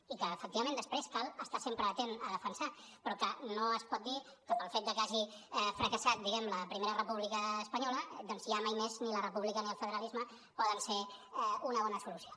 i que efectivament després cal estar sempre atent a defensar però que no es pot dir que pel fet de que hagi fracassat diguem·ne la primera república espanyola doncs ja mai més ni la república ni el federalisme poden ser una bona solució